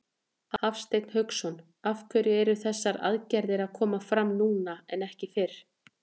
Hafsteinn Hauksson: Af hverju eru þessar aðgerðir að koma fram núna en ekki fyrr?